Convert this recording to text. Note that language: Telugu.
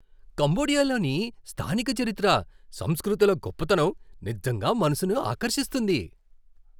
కంబోడియాలోని స్థానిక చరిత్ర, సంస్కృతుల గొప్పతనం నిజంగా మనసును ఆకర్షిస్తుంది.